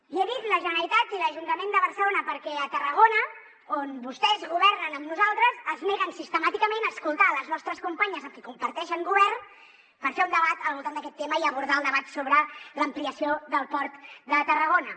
i he dit la generalitat i l’ajuntament de barcelona perquè a tarragona on vostès governen amb nosaltres es neguen sistemàticament a escoltar les nostres companyes amb qui comparteixen govern per fer un debat al voltant d’aquest tema i abordar el debat sobre l’ampliació del port de tarragona